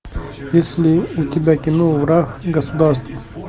есть ли у тебя кино враг государства